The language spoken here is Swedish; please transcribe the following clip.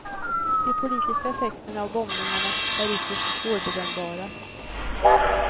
De politiska effekterna av bombningarna är ytterst svårbedömbara.